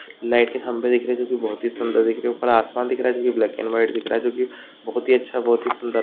light के खंबे दिख रहे हैं जो कि बहुत ही सुंदर दिख रहे हैं ऊपर आसमान दिख रहा है जो कि ब्लैक एण्ड व्हाइट दिख रहा है जो कि बहुत ही अच्छा बहुत ही सुंदर --